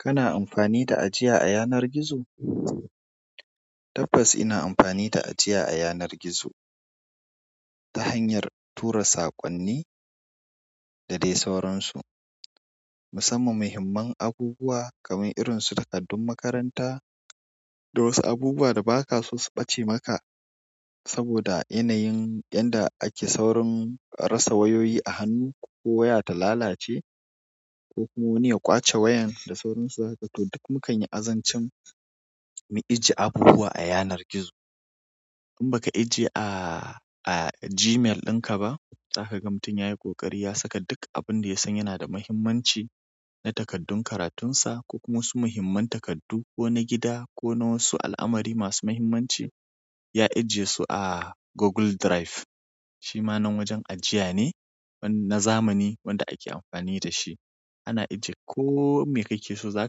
Kana amfani da ajiya a yanar gizo? Tabbas ina amfani da ajiya a yanar gizo ta hanyar tura saƙonni da dai sauransu. Musamman mahimman aguguwa kamar irinsu takardun makaranta da wasu abubuwa da bakaso su ɓace maka saboda yanayin yadda ake saurin rasa wayoyi a hannu ko waya ta lalace ko kuma wani ya ƙwace wayan da sauransu. Haka to duk mukanyi azancin mu ije abubuwa a yanar gizo. In baka ajiye a Gmail ɗinka ba, za ka ga mutum yayi ƙoƙari ya saka duk abun da ya san yana da muhimmanci na takardun karatunsa ko kuma wasu muhimman takardu ko na gida ko na wasu al'amari masu muhimmanci, ya ajiye su a Google Drive. Shi ma wajen ajiya ne na zamani wanda ake amfani da shi. Ana ajiye ko me kake so za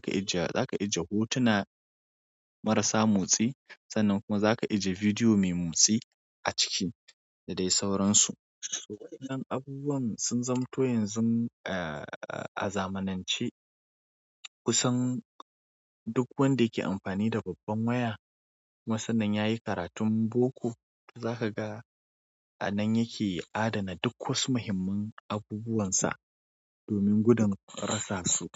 ka ajiye, za ka ajiye hotuna marasa motsi sannan kuma za ka ije bidiyo mai motsi a ciki da dai sauransu. To waɗannan abubuwan sun zamoto yanzu a zamanance kusan duk wanda yake amfani da babban waya. Kuma sannan yayi karatun boko, za ka ga a nan yake adana duk wasu muhimman aguguwansa domin gudun rasa su.